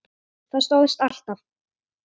Það stóðst alltaf.